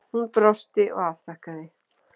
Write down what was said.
Hún brosti og afþakkaði.